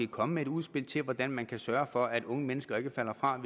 komme med et udspil til hvordan man kan sørge for at unge mennesker ikke falder fra